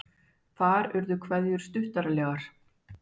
Þar urðu kveðjur stuttaralegar.